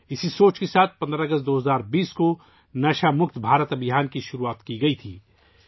اسی سوچ کے ساتھ 15 اگست ، 2020 ء کو 'نشہ سے پاک بھارت مہم ' شروع کی گئی تھی